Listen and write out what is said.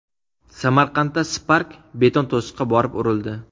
Samarqandda Spark beton to‘siqqa borib urildi.